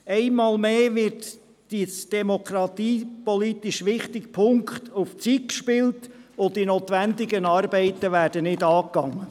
Einmal mehr wird in einem demokratiepolitisch wichtigen Punkt auf Zeit gespielt, und die notwendigen Arbeiten werden nicht angepackt.